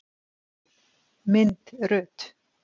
Mynd Rut.